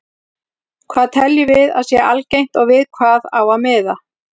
Hvað teljum við að sé algengt og við hvað á að miða?